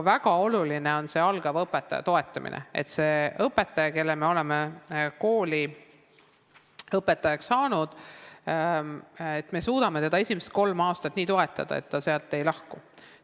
Väga oluline on algaja õpetaja toetamine, et me seda inimest, kelle me oleme kooli õpetajaks saanud, suudaksime esimesed kolm aastat nii toetada, et ta koolist ei lahku.